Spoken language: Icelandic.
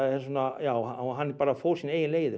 já hann bara fór sínar eigin leiðir